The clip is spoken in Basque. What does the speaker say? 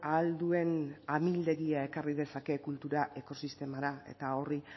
ahal duen amildegia ekarri dezake kultura ekosistemara eta horri